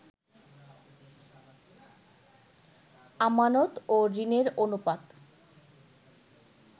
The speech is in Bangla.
আমানত ও ঋণের অনুপাত